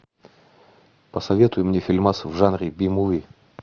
посоветуй мне фильмас в жанре би муви